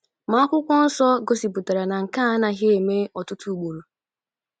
Ma akwụkwọ nsọ gosipụtara na nke a anaghị eme ọtụtụ ugboro.